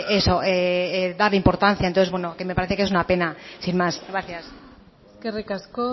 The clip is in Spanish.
eso dar importancia entonces bueno que me parece que es una pena sin más gracias eskerrik asko